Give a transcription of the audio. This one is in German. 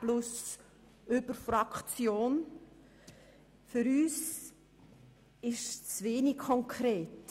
Grossrat Guggisberg, Ihre Planungserklärung ist zu wenig konkret.